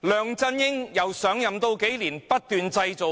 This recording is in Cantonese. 梁振英上任數年，不斷製造